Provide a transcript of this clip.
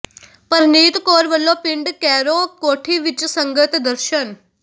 ਪਰਨੀਤ ਕੌਰ ਵੱਲੋਂ ਪਿੰਡ ਕੈਰੋਂ ਕੋਠੀ ਵਿੱਚ ਸੰਗਤ ਦਰਸ਼ਨ